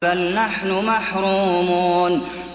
بَلْ نَحْنُ مَحْرُومُونَ